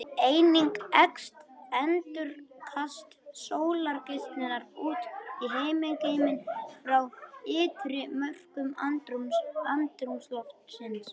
Einnig eykst endurkast sólgeislunar út í himingeiminn frá ytri mörkum andrúmsloftsins.